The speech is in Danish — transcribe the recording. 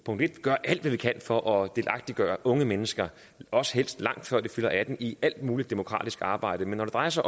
punkt en gør alt hvad vi kan for at delagtiggøre unge mennesker også helst lang tid før de fylder atten i alt mulig demokratisk arbejde men når det drejer sig